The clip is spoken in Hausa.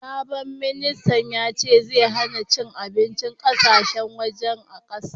Sabon ministan yace zai hanna cin abincin ƙasashen waje a kasan.